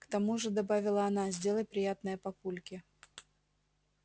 к тому же добавила она сделай приятное папульке